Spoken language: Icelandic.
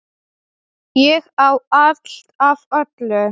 Ég á allt af öllu!